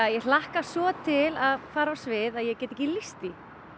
ég hlakka svo til að fara á svið að ég get ekki lýst því